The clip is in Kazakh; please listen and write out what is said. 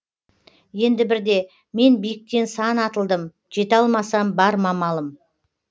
енді бірде мен биіктен сан атылдым жете алмасам бар ма амалым